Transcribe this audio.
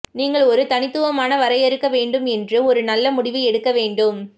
நீங்கள் ஒரு தனித்துவமான வரையறுக்க வேண்டும் என்று ஒரு நல்ல முடிவு எடுக்க வேண்டும்